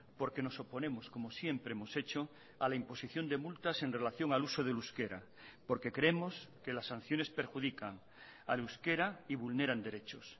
porque nos oponemos como siempre hemos hecho a la imposición de multas en relación al uso del euskera porque creemos que las sanciones perjudican al euskera y vulneran derechos